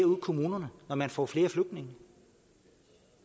ude i kommunerne når man får flere flygtninge